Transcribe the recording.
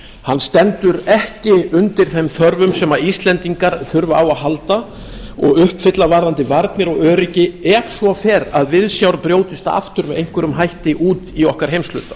hann stendur ekki undir þeim þörfum sem íslendingar þurfa á að halda og uppfylla vaðandi varnir og öryggi ef svo fer að viðsjár brjótist aftur með einhverjum hætti út í okkar heimshluta